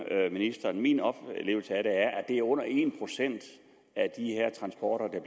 ministeren om min oplevelse af det er at det er under en procent af de her transporter